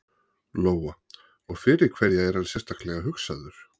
Lóa: Og fyrir hverja er hann sérstaklega hugsaður?